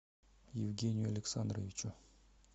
евгению александровичу